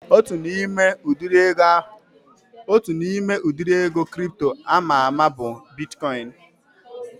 Otu n'ime udiri ego kripto ama ama bụ bitkọin